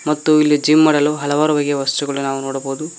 ಮತ್ತು ಇಲ್ಲಿ ಜಿಮ್ ಮಾಡಲು ಹಲವಾರು ಬಗೆಯ ವಸ್ತುಗಳು ನಾವು ನೋಡಬಹುದು.